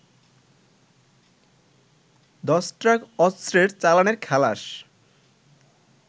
১০ truck অস্ত্রের চালানের খালাস